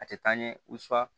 A tɛ taa ɲɛ